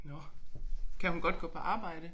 Nåh kan hun godt gå på arbejde